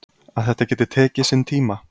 Að þetta geti tekið sinn tíma.